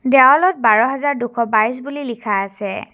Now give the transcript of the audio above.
দেৱালত বাৰ হাজাৰ দুশ বাইছ বুলি লিখা আছে।